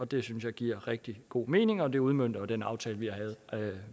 det synes jeg giver rigtig god mening og det udmønter jo den aftale